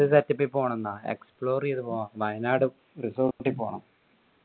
പോണം ന്നാ explore എയ്ത പോണം വയനാട് resort പോണം